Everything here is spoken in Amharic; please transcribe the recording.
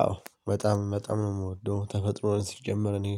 አዎ በጣም በጣም ነው የምወደው ተፈጥሮን ሲጀመር እኔ